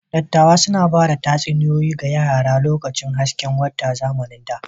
Dattawa suna ba da tatsuniyoyi ga yara a lokacin hasken wata a zamanin da.